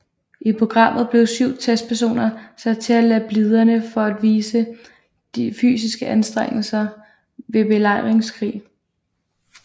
I programmet blev syv testpersoner sat til at lade bliderne for at vise de fysiske anstrengelser ved belejringskrig